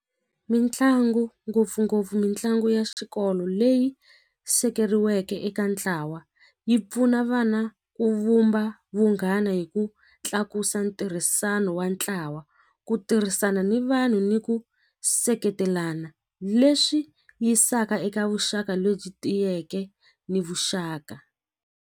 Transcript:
Mitlangu ngopfungopfu mitlangu ya xikolo leyi sekeriweke eka ntlawa yi pfuna vana ku vumba vunghana hi ku tlakusa ntirhisano wa ntlawa ku tirhisana ni vanhu ni ku seketelana leswi yisaka eka vuxaka lebyi tiyeke ni vuxaka.